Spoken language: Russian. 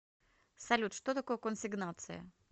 салют что такое консигнация